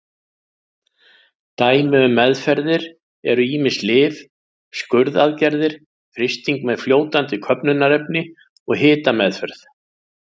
Dæmi um meðferðir eru ýmis lyf, skurðaðgerðir, frysting með fljótandi köfnunarefni og hitameðferð.